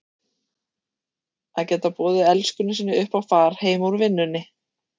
Að geta boðið elskunni sinni upp á far heim úr vinnunni!